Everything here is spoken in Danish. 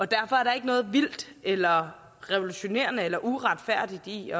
derfor er der ikke noget vildt eller revolutionerende eller uretfærdigt i